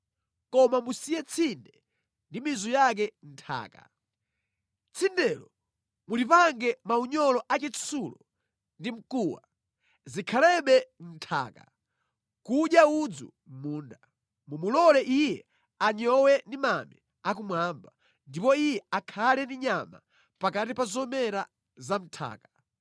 Koma musiye tsinde ndi mizu yake mʼnthaka. Tsindelo mulimange maunyolo a chitsulo ndi mkuwa, zikhalebe mʼnthaka, nʼkudya udzu mʼmunda. “ ‘Mumulole iye anyowe ndi mame akumwamba, ndipo iye akhale ndi nyama pakati pa zomera za mʼnthaka.